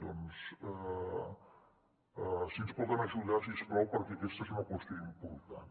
doncs si ens poden ajudar si us plau perquè aquesta és una qüestió important